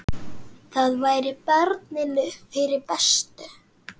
Það væri barninu fyrir bestu.